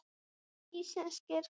Íslenskir sveppir og sveppafræði.